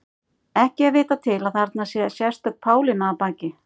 Ekki er vitað til að þarna sé sérstök Pálína að baki.